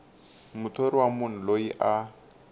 muthori wa munhu loyi a